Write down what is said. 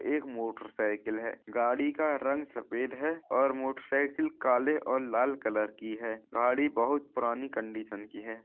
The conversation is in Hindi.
एक मोटर साइकिल है। गाड़ी का रंग सफेद है और मोटर साइकिल काले और लाल कलर की है। गाड़ी बहोत पुरानी कन्डिशन की है।